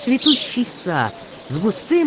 цветущий сад